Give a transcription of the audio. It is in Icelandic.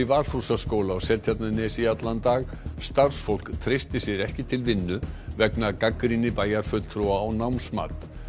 Valhúsaskóla á Seltjarnarnesi í allan dag starfsfólk treysti sér ekki til vinnu vegna gagnrýni bæjarfulltrúa á námsmat